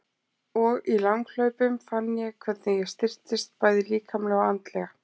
Og í langhlaupunum fann ég hvernig ég styrktist, bæði líkamlega og andlega.